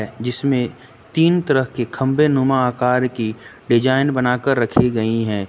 जिसमें तीन तरह के खंभे नुमा आकार की डिजाइन बनाकर रखी गई हैं।